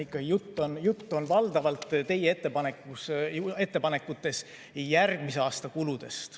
Jutt on teie ettepanekutes valdavalt järgmise aasta kuludest.